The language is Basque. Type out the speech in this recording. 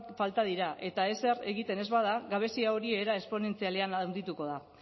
falta dira eta ezer egiten ez bada gabezia hori era esponentzialean handituko da